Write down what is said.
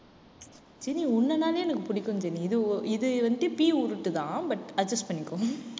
Jenny எனக்கு பிடிக்கும் Jenny. இது இது வந்துட்டு பீ உருட்டுதான் but adjust பண்ணிக்கோ